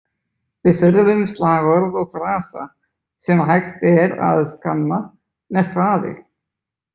Við þurfum slagorð og frasa sem hægt er að skanna með hraði.